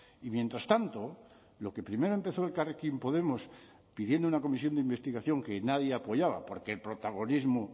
y mientras tanto lo que primero empezó elkarrekin podemos pidiendo una comisión de investigación que nadie apoyaba porque el protagonismo